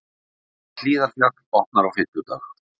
Hlíðarfjall opnar á fimmtudag